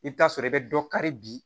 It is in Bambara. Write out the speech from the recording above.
I bɛ taa sɔrɔ i bɛ dɔ kari bi